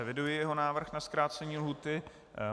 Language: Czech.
Eviduji jeho návrh na zkrácení lhůty.